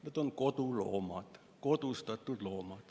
Need on koduloomad, kodustatud loomad.